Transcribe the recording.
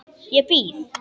Ég býð.